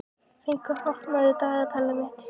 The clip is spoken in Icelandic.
Fengur, opnaðu dagatalið mitt.